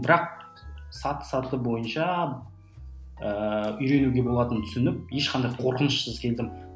бірақ саты саты бойынша ыыы үйренуге болатынын түсініп ешқандай қорқынышсыз келдім